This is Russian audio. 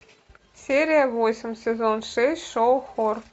серия восемь сезон шесть шоу хор